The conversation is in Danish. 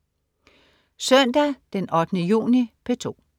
Søndag den 8. juni - P2: